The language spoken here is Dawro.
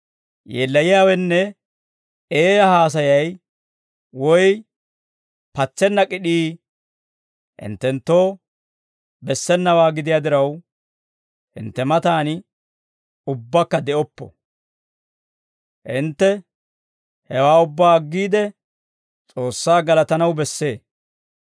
Yeellayiyaawenne eeyaa haasayay woy patsenna k'id'ii hinttenttoo bessenawaa gidiyaa diraw, hintte matan ubbakka de'oppo; hintte hewaa ubbaa aggiide, S'oossaa galatanaw bessee.